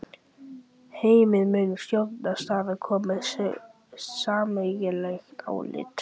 Heimir: Mun stjórnarandstaðan koma með sameiginlegt álit?